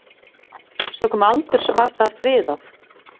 Sökum aldurs var það friðað.